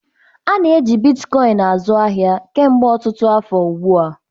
A na-eji Bitkoịn azụ ahịa kemgbe ọtụtụ afọ ugbu a.